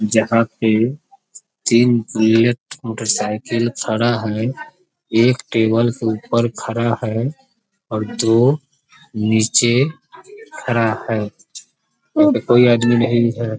जहां पे तीन बुलेट मोटर साइकिल खड़ा है एक टेबल के ऊपर खड़ा है और दो नीचे खड़ा है कोई आदमी--